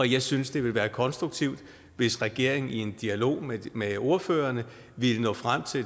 jeg synes det vil være konstruktivt hvis regeringen i en dialog med med ordførerne ville nå frem til at